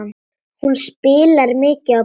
Hún spilaði mikið á píanó.